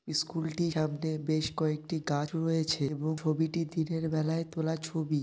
School -টি সামনে বেশ কয়েকটি গাছ রয়েছে এবং ছবিটি দিনের বেলায় তোলা ছবি ।